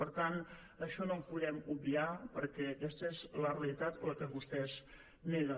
per tant això no ho podem obviar perquè aquesta és la realitat la que vostès neguen